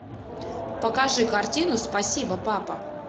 покажи картину спасибо папа